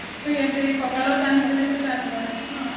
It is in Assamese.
অ ইয়াতে কঁকালত বান্ধি পেলাই যে টাট বই ন ?